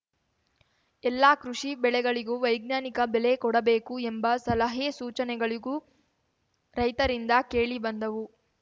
ಎಲ್ಲಾ ಕೃಷಿ ಬೆಳೆಗಳಿಗೂ ವೈಜ್ಞಾನಿಕ ಬೆಲೆ ಕೊಡಬೇಕು ಎಂಬ ಸಲಹೆಸೂಚನೆಗಳಿಗೂ ರೈತರಿಂದ ಕೇಳಿ ಬಂದವು